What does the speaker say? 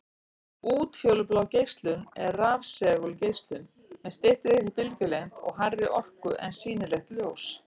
Útfjólublá geislun er rafsegulgeislun með styttri bylgjulengd og hærri orku en sýnilegt ljós.